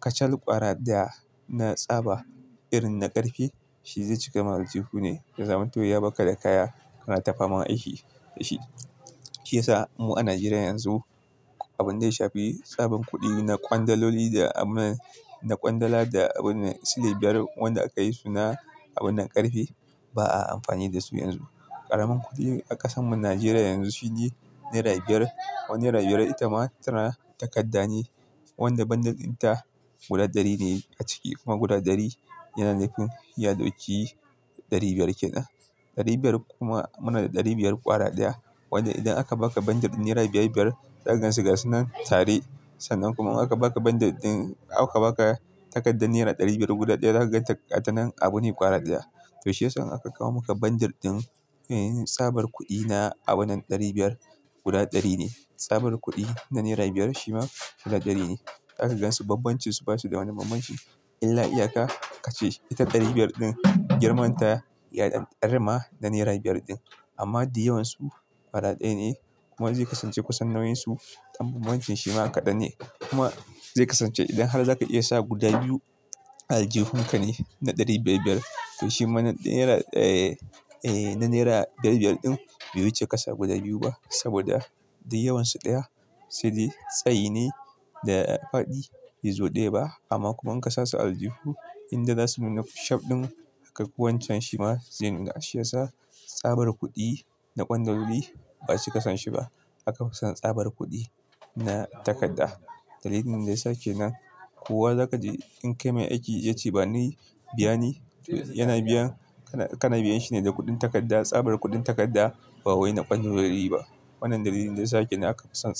kacal ƙwara ɗaya na tsaba irin na ƙarfe, shi zai cika maka aljihu ne. Da zaman to ya baka da kaya kana tafaman aiki da shi. Shi ya sa mu a Najeriya yanzu, abin da ya shafi tsaban kuɗi na ƙwandololi da abun na ƙwandala da abun sile biyar wanda aka yi suna abun nan ƙarfe, ba a amfani da su yanzu. Ƙaramin kuɗi a ƙasan mu Najeriya yanzu shi ne naira biyar. Wani naira biyar ita ma tana takarda ne, wanda bundle din ta guda ɗari ne a ciki kuma guda ɗari yana nufin ya dauki ɗari biyar kenan. Ɗari biyar kuma, muna da ɗari biyar ƙwara ɗaya. Wanda idan aka baka bundle naira biyar biyar, za ka gansu ga sunan tare. Sannan kuma in aka baka bundle din, aka baka takardar naira ɗari biyar guda ɗaya, za ka ganta ta nan abu ne ƙwara ɗaya. To shi ya sa in aka kawo maka bundle din, eh, tsabar kuɗi na abun nan ɗari biyar guda ɗari ne. Tsabar kuɗi na naira biyar shi ma guda ɗari ne. Za ka gansu bambancin su, basu da wani bambanci. Illa iya ka, ka ce ita ɗari biyar din girman ta ya rima da naira biyar din. Amma da yawan su ƙwara ɗaya ne. Kuma zai kasance kusan nauyin su, don bambancin shi ma kaɗan ne. Kuma zai kasance idan har za ka iya sa guda biyu a aljihun ka ne na ɗari biyar biyar. To shima na naira, eh, eh, na naira biyar biyar din bai wuce ƙasa guda biyu ba saboda dai yawan su ɗaya. To dai tsayi ne da faɗi, bai zo ɗaya ba. Amma kuma in ka sa su aljihu, inda za su nuna shop ɗin aka kuwa wancan shi ma zai nuna. Shi ya sa tsabar kuɗi na ƙwandololi ba su kasance ba. An fi son tsabar kuɗi na takarda. Dalilin da ya sake nan, kowa za ka je in kai mai aiki ya ce ba ni, biya ni, yana biyan, kana, kana biyan shi ne da kuɗin takarda. Tsabar kuɗin takarda ba wai na ƙwandololi ba. Wannan dalilin da ya sa kenan aka fi son tsabar.